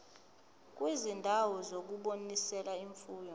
kwizindawo zokunonisela imfuyo